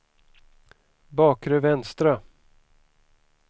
bakre vänstra